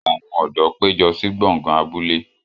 Àwọn ọ̀dọ́ péjọ sí gbọ̀ngàn abúlé